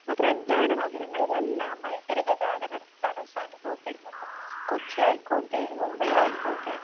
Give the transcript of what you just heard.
ഇപ്പൊ പ്രധാന നഗരങ്ങളിൽ എല്ലാം ഭയങ്കര ഗതാഗത തടസ്സം അനുഭവപ്പെടുന്നുണ്ട്. കൊച്ചി ആയിക്കോട്ടെ മുംബൈ ആയിക്കോട്ടെ